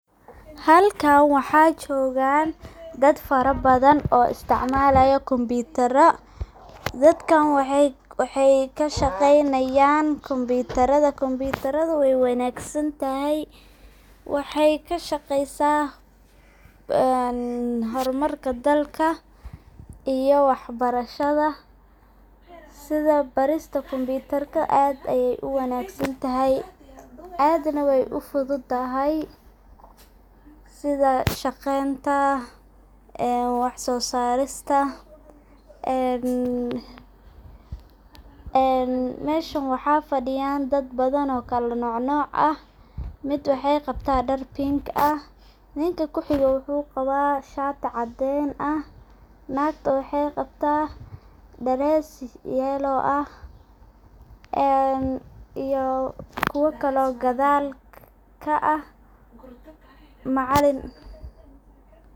Halkan waxa jogan dad fara badhan oo istacamalayo kompitara, dadkan waxay kashaqeynayan kompitarada, kompitarada way wanagsantahy waxay kashaqeysa hormarka dalka iyo waxbarashada, sidha barista kompitarka, aad bay uwanagsantahy aad nah way ufududahay sidaa shaqeynta, wax sosarista en meshan waxa fadiyan dad kalanocnoc ah mid waxay qabta dar pink ah, ninkan kuxigo wuxu qaba shati cadin ah, nagta waxay qabta dress yellow ah, iyo kuwa kale oo gadhal ka ah macalin.